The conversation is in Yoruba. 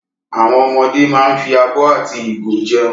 Àwọn ọmọdé máa ń fi abọ́ àti ìgo jẹun.